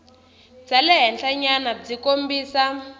bya le henhlanyana byi kombisa